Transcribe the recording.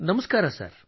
ನಮಸ್ಕಾರ ಸರ್